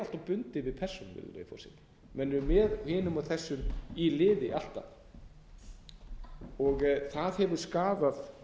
bundið við persónur virðulegi forseti með eru með hinum og þessum í liði alltaf og það hefur skaðað